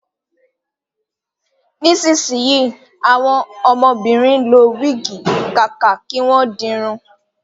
Nísìnsíyì, àwọn ọmọbìnrin ń lo wígì kàkà kí wọ́n di irun